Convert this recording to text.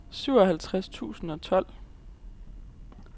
syvoghalvtreds tusind og tolv